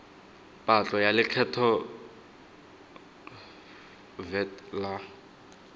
patlo ya lekgetho vat la